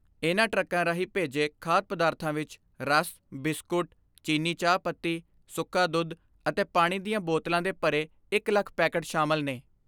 ਇਨ੍ਹਾਂ ਟਰੱਕਾਂ ਰਾਹੀਂ ਭੇਜੇ ਖਾਧ ਪਦਾਰਥਾਂ ਵਿੱਚ ਰਸ, ਬਿਸਕੁਟ, ਚੀਨੀ ਚਾਹਪੱਤੀ, ਸੁੱਕਾ ਦੁੱਧ ਅਤੇ ਪਾਣੀ ਦੀਆਂ ਬੋਤਲਾਂ ਦੇ ਭਰੇ ਇਕ ਲੱਖ ਪੈਕੇਟ ਸ਼ਾਮਲ ਨੇ।